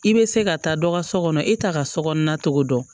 I bɛ se ka taa dɔ ka so kɔnɔ e t'a ka sokɔnɔna togo dɔn